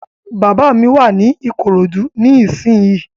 Bàbá mi wà ní Ìkòròdú ní ìsínyi